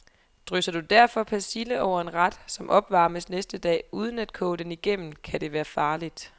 Drysser du derfor persille over en ret, som opvarmes næste dag, uden at koge den igennem, kan det være farligt.